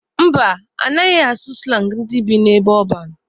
Mba, ha anaghị asụ slangi ndị bi n'ebe ọban.